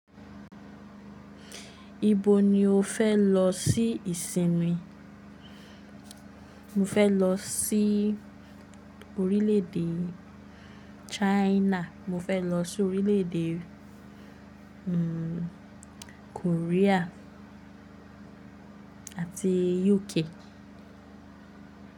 Ibo ni o fẹ́ lọ sí ìsinmi? Mo fẹ́ lọ sí orílè èdè China, mo fẹ́ lọ sí orílè èdè, Korea àti UK.